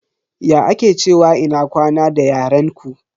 Ya ake cewa ina kwana da yaren ku?